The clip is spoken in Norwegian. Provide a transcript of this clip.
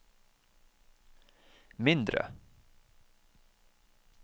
mindre